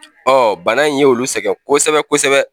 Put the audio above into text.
bana in ye olu sɛgɛn kosɛbɛ kosɛbɛ.